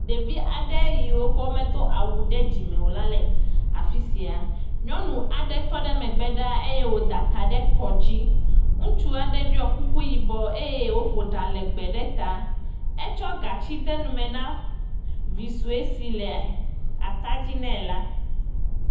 Ɖevi aɖe yiwo ke medo awu ɖe dzime wo la le afi sia. Nyɔnu aɖe tɔ ɖe megbe eye wòda ta ɖe kɔdzi. Ŋutsu aɖe ɖɔ kuku yibɔ eye wòƒo ɖa lɛgbɛ ɖe ta. Etsɔ gatsi de nume na vi sue si le atadzi nɛ la.